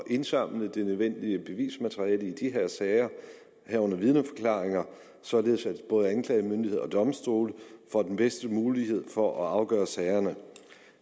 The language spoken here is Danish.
indsamle det nødvendige bevismateriale i de her sager herunder vidneforklaringer således at både anklagemyndighed og domstole får den bedste mulighed for at afgøre sagerne